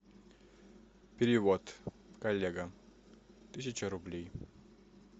перевод коллега тысяча рублей